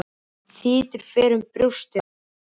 Þytur fer fyrir brjóstið á honum.